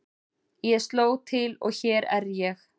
Ég sló til og hér er ég.